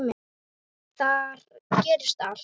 Þar gerist allt.